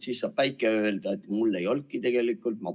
Siis saab päike öelda, et mul ei olnudki tegelikult vaja otsustada.